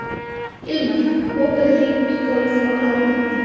Hilmar, bókaðu hring í golf á laugardaginn.